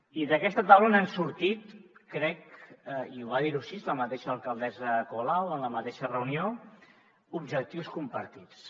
i d’aquesta taula n’han sortit crec i ho va dir així la mateixa alcaldessa colau en la mateixa reunió objectius compartits